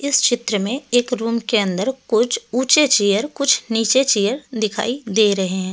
इस चित्र में एक रूम के अंदर कुछ ऊंचे चेयर कुछ नीचे चेयर दिखाई दे रहे हैं।